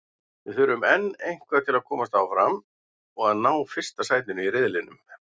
Við þurfum enn eitthvað til að komast áfram og að ná fyrsta sæti í riðlinum.